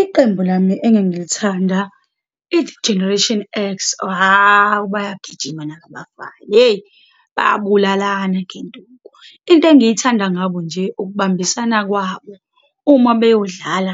Iqembu lami engangilithanda i-Generation X. Hawu, bayagijima naba abafana, hheyi, bayabulalana ngenduku. Into engiyithanda ngabo nje ukubambisana kwabo, uma beyodlala